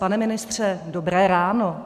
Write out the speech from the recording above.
Pane ministře, dobré ráno.